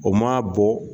O ma bɔ